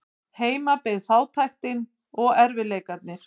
Heima beið fátæktin og erfiðleikarnir.